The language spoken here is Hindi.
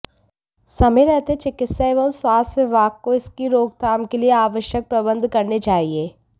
समय रहते चिकित्सा एवं स्वास्थ्य विभाग को इसकी रोकथाम के लिए आवश्यक प्रबंध करने चाहिए